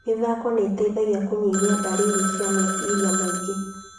Mathako mateithagia kũnyihia ndariri cia meciria maingĩ